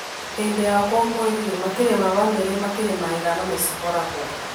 Hĩndĩ ya ũkũngũĩri rĩ, makĩria ma bamĩrĩ makĩria ma ithano nĩ ciboragwo